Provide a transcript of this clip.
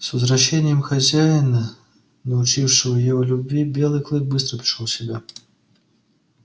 с возвращением хозяина научившего его любви белый клык быстро пришёл в себя